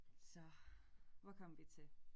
Så hvor kom vi til